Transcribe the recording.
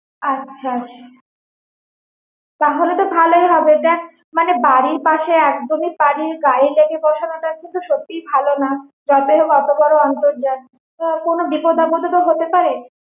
আচ্ছা তাহলে তো ভালোই হবে দ্যাখ বাড়ির পাশে মানে একদমই বাড়ির গায়ে লেগে বসানোটা কিন্তু সত্যি ভালো নয় যতই হোক ওত বড়ো অন্তর্জাল কোনো বিপদ আপদ ও তো হতে পারে